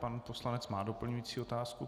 Pan poslanec má doplňující otázku.